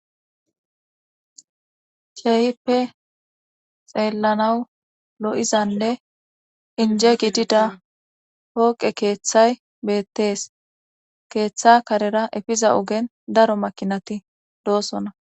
Kehippe xeellanawu lo7izanne inje gidida hooqe keeththay beettees keeththa karera efiza ogen daro makinati doosona